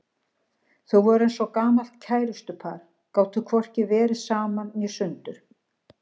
Þau voru eins og gamalt kærustupar, gátu hvorki verið saman né sundur.